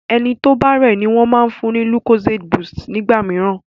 ẹní tó o bá rẹ ní wón fún ní lucozade boost nígbàmìíràn.